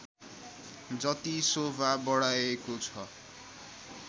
जति शोभा बढाएको छ